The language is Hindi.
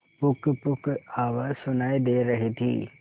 पुकपुक आवाज सुनाई दे रही थी